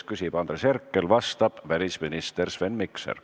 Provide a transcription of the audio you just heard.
Küsib Andres Herkel, vastab välisminister Sven Mikser.